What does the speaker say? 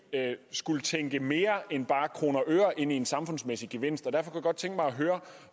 skulle tænke mere end bare kroner og øre ind i en samfundsmæssig gevinst